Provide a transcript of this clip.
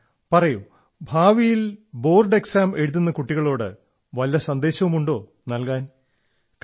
tell me do you have any message for fellow students who will give board exams in future